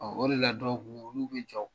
Ɔ o de la dɔw ko olu bɛ jɔ